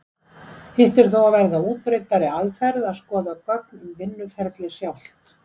Hitt er þó að verða útbreiddari aðferð að skoða gögn um vinnuferlið sjálft.